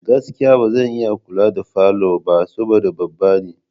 Gaskiya! Ba zan iya kula da falo ba saboda babba ne.